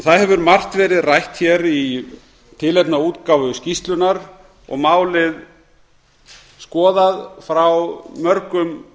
það hefur margt verið rætt hér í tilefni af útgáfu skýrslunnar og málið skoðað frá mörgum